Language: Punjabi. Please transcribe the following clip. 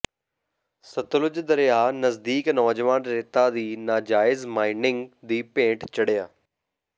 ਸਤਲੁਜ ਦਰਿਆ ਨਜ਼ਦੀਕ ਨੌਜਵਾਨ ਰੇਤਾਂ ਦੀ ਨਾਜਾਇਜ਼ ਮਾਈਨਿੰਗ ਦੀ ਭੇਟ ਚੜਿ੍ਹਆ